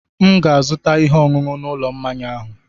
M ga-azụta ihe ọṅụṅụ n'ụlọ mmanya ahụ.